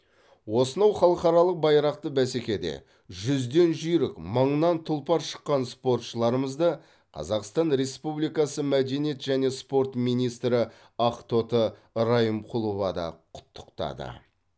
осынау халықаралық байрақты бәсекеде жүзден жүйрік мыңнан тұлпар шыққан спортшыларымызды қазақстан республикасы мәдениет және спорт министрі ақтоты райымқұлова да құттықтады